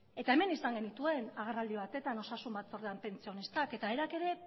eta hemen izan genituen agerraldi batetan osasun batzordean pentsionistak eta haiek ere